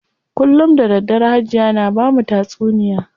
Kullum da daddare Hajiya na bamu tatsuniya.